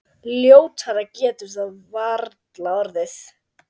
Ljótara getur það varla orðið.